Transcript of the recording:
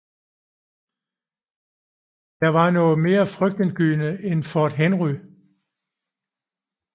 Det var noget mere frygtindgydende end Fort Henry